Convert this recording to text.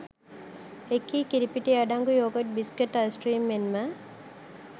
එකී කිරිපිටි අඩංගු යෝගට් බිස්කට් අයිස්ක්‍රීම් මෙන්ම